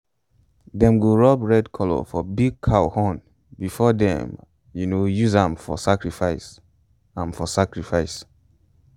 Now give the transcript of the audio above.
them go rub red colour for big cow horn before them um use am for sacrifice. am for sacrifice.